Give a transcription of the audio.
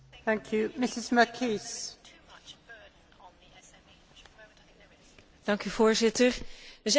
Voorzitter, we zijn het veel eens hier vandaag en dat schept belofte voor de toekomst, dat er echt iets gaat veranderen.